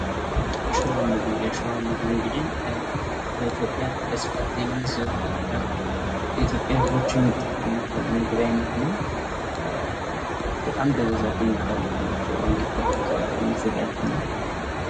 ሽሮ ምግብ የሽሮ ምግብ እንግዲህ በኢትዮጵያ በስፋት የሚዘወተር የኢትዮጵያ ህዝቦች የሚጠቀሙት የምግብ አይነት ነው። በጣም በብዛት የሚታወቅ ነው ሽሮ እንግዲህ ከክክ የሚዘጋጅ ነው።